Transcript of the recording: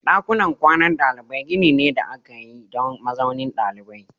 Dakunan kwanan dalibai gini ne da aka yi don mazaunin ɗalibai.